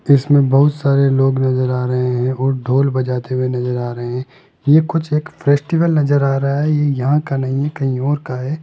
इसमें बहुत सारे लोग नजर आ रहे हैं और ढोल बजाते हुए नजर आ रहे हैं ये कुछ एक फेस्टिवल नजर आ रहां हैं ये यहां का नहीं है कहीं और का हैं।